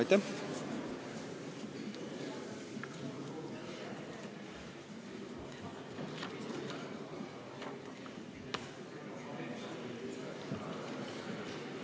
Aitäh!